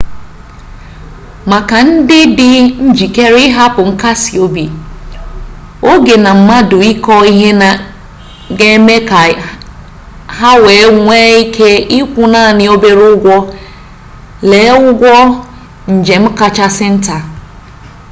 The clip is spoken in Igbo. maka ndị dị njikere ịhapụ nkasi obi oge na mmadụ ịkọ ihe ha ga-eme ka ha wee nwee ike ịkwụ naanị obere ụgwọ lee ụgwọ njem kachasị nta